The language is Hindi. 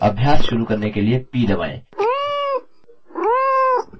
अभ्यास शुरू करने के लिए p दबाएँ